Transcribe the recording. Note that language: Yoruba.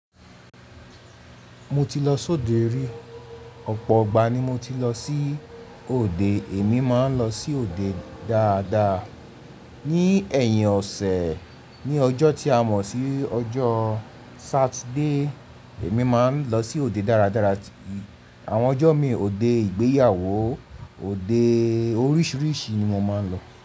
Mo ti lọ sóde rí. Ọ̀pọ̀ igbà ni mo ti lọ sí òde. Èmi máa ń lọ sí òde dáadáa. Ni ẹ̀yìn ọ̀sẹ̀ ni ọjọ́ tí a mọ̀ sí ọjọ́ Satide, èmi máa ń lọ sí òde dáradára. Àwọn ọjọ́ mi, òde ìgbéyàwó, òde oríṣìíríṣìí ni mo máa ń lọ.